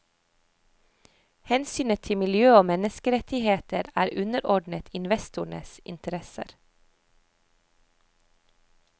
Hensynet til miljø og menneskerettigheter er underordnet investorenes interesser.